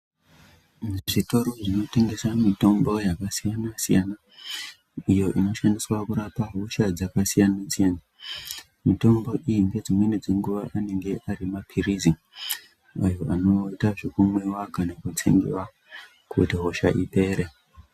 Muzvitoro zvinotengesa mitombo yakasiyana-siyana. Iyo inoshandiswa kurapa hosha dzakasiyana-siyana. Mitombo iyi ngedzimweni dzenguwa anenge ari maphirizi, anoita zvekumwiwa kana kutsengiwa kuti hosha ipere.